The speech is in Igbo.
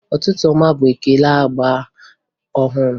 Ụtụtụ ọma bụ ekele agba ọhụrụ